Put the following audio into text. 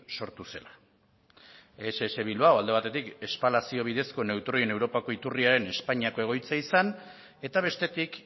sortu zela ess bilbao alde batetik espalazio bidezko neutroien europako iturriaren espainiako egoitza izan eta bestetik